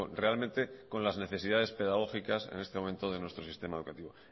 realmente con las necesidades pedagógicas en este momento de nuestro sistema educativo